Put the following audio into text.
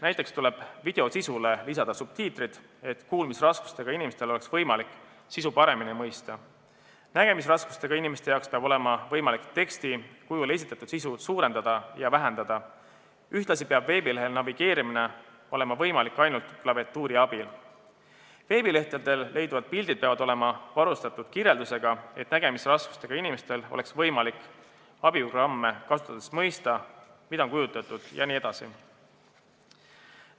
Näiteks tuleb video sisule lisada subtiitrid, et kuulmisraskustega inimestel oleks võimalik sisu paremini mõista, nägemisraskustega inimestel peab olema võimalik teksti kujul esitatud sisu suurendada ja vähendada, ühtlasi peab veebilehel olema võimalik navigeerida ainult klaviatuuri abil, veebilehtedel leiduvad pildid peavad olema varustatud kirjeldusega, et nägemisraskustega inimestel oleks võimalik abiprogramme kasutades mõista, mida nendel on kujutatud, jne.